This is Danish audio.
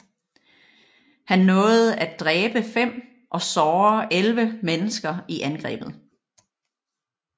Han nåede at dræbe fem og såre elleve mennesker i angrebet